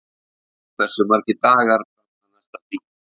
Sunna, hversu margir dagar fram að næsta fríi?